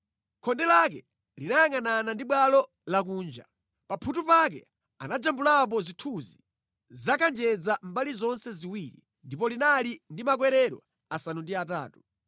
Khonde lake linayangʼanana ndi bwalo lakunja. Pa mphuthu pake anajambulapo zithunzi za kanjedza mbali zonse ziwiri, ndipo linali ndi makwerero asanu ndi atatu.